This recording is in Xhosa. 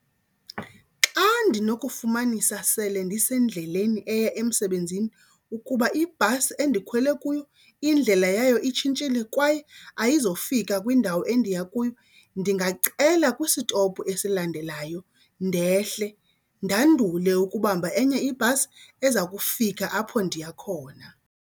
Xa ndinokufumanisa sele ndisendleleni eya emsebenzini ukuba ibhasi endikhwele kuyo indlela yayo itshintshile kwaye ayizofika kwindawo endiya kuyo, ndingacela kwisitophu esilandelayo ndehle. Ndandule ukubamba enye ibhasi eza kufika apho ndiya khona.